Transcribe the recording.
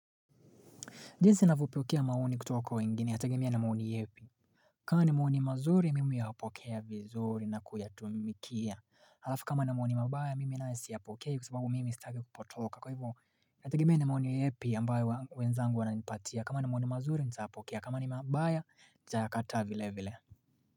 Jinsi navyopokea maoni kutoka kwa wengine yatagemea na maoni yepi kama ni maoni mazuri mimi huyapokea vizuri na kuyatumikia Halafu kama ni maoni mabaya mimi nae siyapokei kusababu mimi staki kupotoka kwa hivo nategemea ni maoni yepi ambayo wenzangu wana nipatia kama ni maoni mazuri ntayapokea kama ni mabaya ntayakataa vile vile.